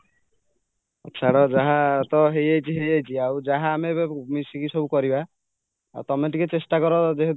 ଛାଡ଼ ଯାହା ତ ହେଇଯାଇଛି ହେଇଯାଈଛି ଆଉ ଯାହା ଆମେ ଏବେ ମିଶିକି ସବୁ କରିବା ଆଉ ତମେ ଟିକେ ଚେଷ୍ଟା କର ତମେ ଯେହେତୁ